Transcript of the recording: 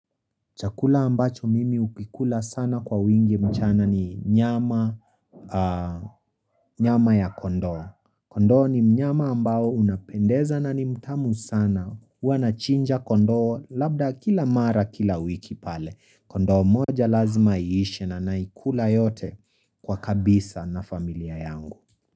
Chakula ambacho mimi ukikula sana kwa wingi mchana ni nyama nyama ya kondoo Kondoo ni mnyama ambao unapendeza na nimtamu sana huwa nachinja kondoo labda kila mara kila wiki pale Kondoo mmoja lazima iishe na naikula yote kwa kabisa na familia yangu.